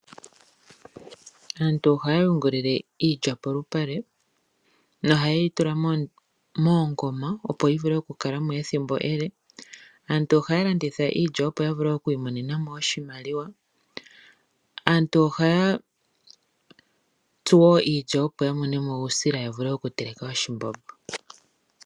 Aantu ohaya yungilile iilya polupale nohayeyi tula moongoma opo yikale mo ethimbo ele. Aantu ohaya landitha iilya opo yi imonenemo oshimaliwa. Aantu ohaya tsu iilya opo ya mone mo uusila yavule okuteleka oshimbombo.